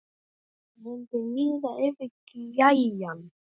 Það mundi líða yfir gæjann!